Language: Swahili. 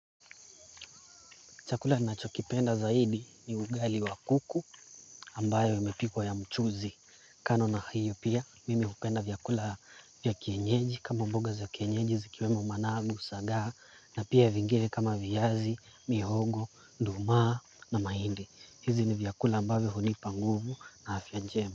Chakula ninachokipenda zaidi ni ugali wa kuku ambayo imepikwa ya mchuzi. Kando na hiyo pia mimi hupenda vyakula vya kienyeji kama mboga za kienyeji zikiwemo managu sagaa na pia vingine kama viazi, mihogo, nduma na mahindi hizi ni vyakula ambayo hunipa nguvu na afya njema.